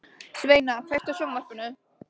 Sveina, kveiktu á sjónvarpinu.